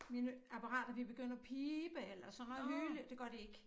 Mine apparater ville begynde at pibe eller sådan noget hyle det gør det ikke